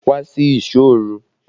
Wá sí ìsọ́ òru!